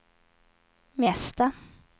mesta